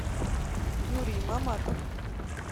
юрий маматов